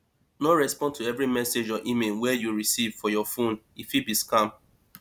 no respond to every message or email wey you recieve for your phone e fit be scam